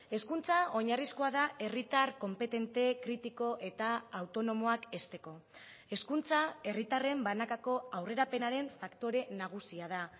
hezkuntza oinarrizkoa da herritar konpetente kritiko eta autonomoak hezteko hezkuntza herritarren banakako aurrerapenaren faktore nagusia da